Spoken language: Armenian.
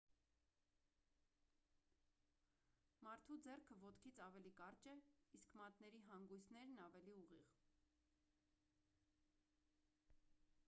մարդու ձեռքը ոտքից ավելի կարճ է իսկ մատների հանգույցներն ավելի ուղիղ